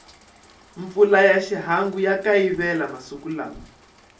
mpfula ya xihangu ya kayivela masiku lawa